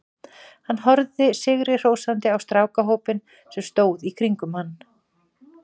Hann horfði sigri hrósandi á strákahópinn sem stóð í kringum hann.